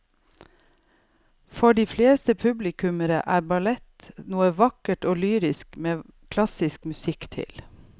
For de fleste publikummere er ballett noe vakkert og lyrisk med klassisk musikk til.